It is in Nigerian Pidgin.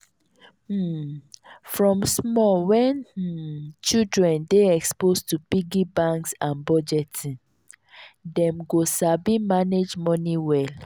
um from small wen um children dey exposed to piggy banks and budgeting dem go sabi manage moni well.